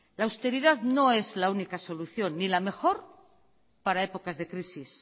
la austeridad no es la única solución ni la mejor para épocas de crisis